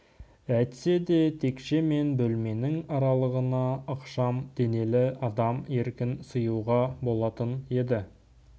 әйтсе де текше мен бөлменің аралығына ықшам денелі адам еркін сыюға болатын еді